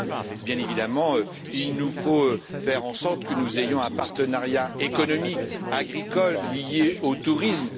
Enfin, bien évidemment, il nous faut faire en sorte que nous ayons un partenariat économique, agricole et lié au tourisme.